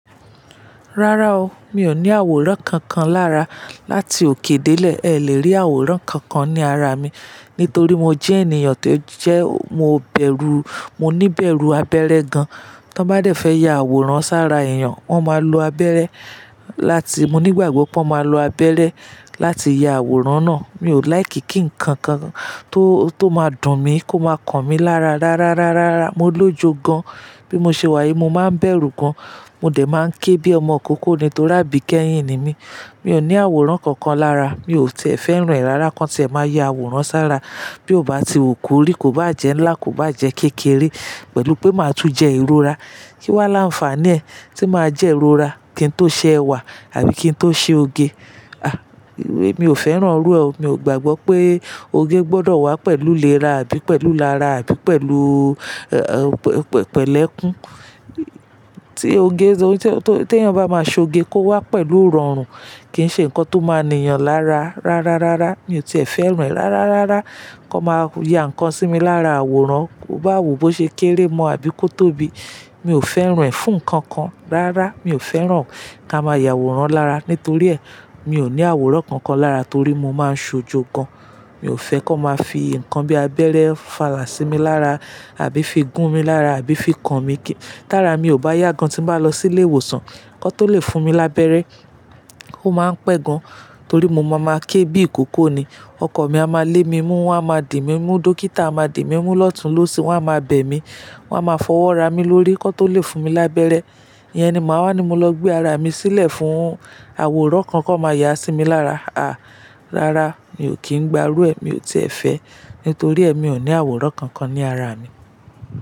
Rárá o, mi ò ní àwòrán kankan lára. Láti òkè dé ilẹ̀ ẹ le rí àwòrán kankan ní ara mi. Nítorí mo jẹ́ ènìyàn tó jẹ́ mo bẹ̀rù, mo ní bẹ̀rù abẹ́rẹ́ gan. Tán bá dé fẹ́ ya àwòrán sára èèyàn, wón máa lo abẹ́rẹ́ láti, mo ní gbàgbọ́ pé wón máa lo abẹrẹ́ láti ya àwòrán náà. Mi ò like kí nǹkan kan tó, tó máa dùn mí kó máa kan mi lára rárá, rárá. Mo lójú gan. Bí mo ṣe wà yìí, mo máa ń bẹ̀rù gan. Mo dẹ máa ń ké bí ọmọ ìkókó ni torí àbí kẹ́yìn ni mí. Mi ò ní àwòrán kankan lára. Mi ò tiẹ̀ fẹ́ ràn ẹ rara kán tí ẹ máa ya àwòrán sára. Bí ó bá ti wù kó rí, kó bá jẹ́ ńlá, kó bá jẹ́ kékeré pẹ̀lú pé máa tún jẹ ìrora. Kí wá là ń fàá ní ẹ́ tí máa jẹ ìrora? Kín tó ṣe ẹwà àbí kí ń tó ṣe oge? À, èmi ò fẹ́ràn irú ẹ o. Mi ò gbàgbọ́ pé oge gbọdọ̀ wá pẹ̀lú léra àbí pẹ̀lú lára àbí pẹ̀lú, ẹ, pẹ̀lẹ́kún. Tí oge, tí ẹyàn bá máa ṣe oge kó wá pẹ̀lú òórùn kí i ṣe nǹkan tó máa ni iyan lára. Rárá, rárá. Mi ò tiẹ̀ fẹ́ ràn ẹ. Rárá, rárá. Kọ máa ya nǹkan sí mi lára àwòrán. Kó bá wù kó ṣe kékeré mo àbí kó tóbi. Mi ò fẹ́ ràn ẹ fún nǹkan kan. Rárá, mi ò fẹ́ ràn ká máa ya àwòrán lára. Nítorí ẹ, mi ò ní àwòrán kankan lára torí mo máa ń ṣojo gan. Mi ò fẹ́ kó máa fi nǹkan bí abẹ́rẹ́ fàá lá sí mi lára àbí fi gún mí lára àbí fi kan mi kí, tára mi ò bá yà gan tí n bá lọ sílé ìwòsàn. Kán tó le fún mi lábẹ́rẹ́ o máa ń pẹ́ gan torí mo máa máa ké bí ìkókó ni. Ọkọ̀ mi a máa lé mi mú, wón a máa di mí mú, dókítà a máa dè mí mú lọ́tunlósìì wón a máa bẹ̀ mí. Wón a máa fọwọ́ ra mí lórí nkán tó le fún mi lábẹ́rẹ́. Iyẹn ni màá wá ni mo lọ gbé ara mi sílẹ̀ fún àwòrán kan kan máa yà sí mi lára. À, rárá, mi ò kín ń gba irú ẹ́ mi ò tiẹ̀ fẹ́. Nítorí ẹ mi ò ní àwòrán kankan ní ara mi.